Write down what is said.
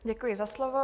Děkuji za slovo.